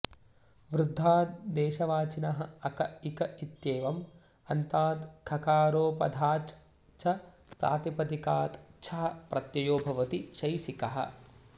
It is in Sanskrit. वृद्धाद् देशवाचिनः अक इक इत्येवम् अन्तात् खकारोपधाच् च प्रातिपदिकात् छः प्रत्ययो भवति शैसिकः